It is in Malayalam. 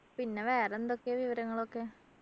പിന്നെ വേറെ എന്തൊക്കെയാ വിവരങ്ങളൊക്കെ